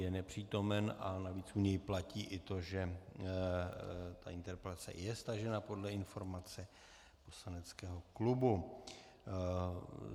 Je nepřítomen a navíc u něj platí i to, že ta interpelace je stažena podle informace poslaneckého klubu.